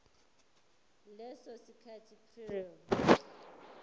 leso sikhathi prior